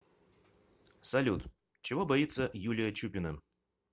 салют чего боится юлия чупина